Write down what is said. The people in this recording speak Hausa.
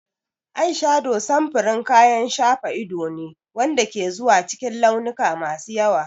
Ayshado samfurin kayan shafa ido ne wanda ke zuwa cikin launuka masu yawa.